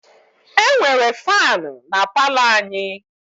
E nwere faanụ na palọ anyị.